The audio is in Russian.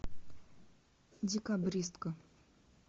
декабристка